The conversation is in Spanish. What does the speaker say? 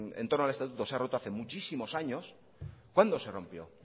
en torno al estatuto se ha roto hace muchísimos años cuándo se rompió